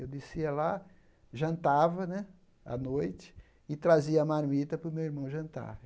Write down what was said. Eu descia lá, jantava né à noite e trazia a marmita para o meu irmão jantar.